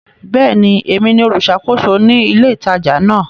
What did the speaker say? Bẹ́ẹ̀ni, èmi ni olùṣàkóso ní ilé ìtajà náà.